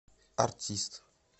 артист